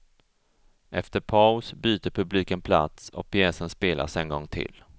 Efter paus byter publiken plats och pjäsen spelas en gång till.